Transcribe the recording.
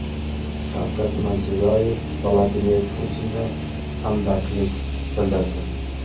Shavkat Mirziyoyev Vladimir Putinga hamdardlik bildirdi.